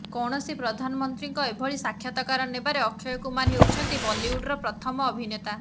କୌଣସି ପ୍ରଧାନମନ୍ତ୍ରୀଙ୍କ ଏଭଳି ସାକ୍ଷାତକାର ନେବାରେ ଅକ୍ଷୟ କୁମାର ହେଉଛନ୍ତି ବଲିଉଡ୍ର ପ୍ରଥମ ଅଭିନେତା